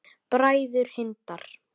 Bræður Hindar